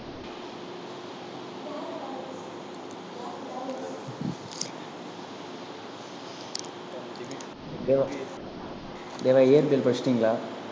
தேவா தேவா இயற்பியல் படிச்சிட்டீங்களா